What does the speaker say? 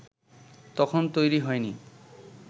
তখন তৈরি হয়নি